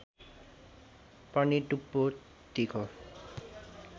पनि टुप्पो तिखो